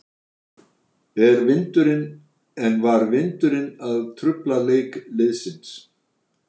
En var vindurinn að trufla leik liðsins?